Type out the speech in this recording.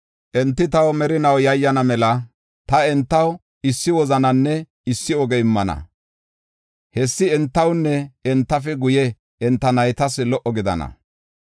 Enti taw merinaw yayyana mela, ta entaw issi wozananne issi oge immana; hessi entawunne entafe guye enta naytas lo77o gidana.